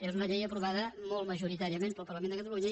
és una llei aprovada molt majoritàriament pel parlament de catalunya